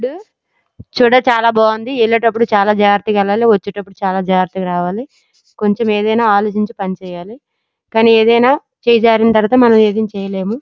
చూడ చాల బగుంది యేలేటపుడు చాల జాగ్రత్తగా ఏలాలి వచేటపుడు చాల జాగ్రత్తగా రవళి కొంచం ఏదైనా అలోచించి పని చేయాలి చెయ్ జరీన్ తరవాత మనము ఏది చేయలేము.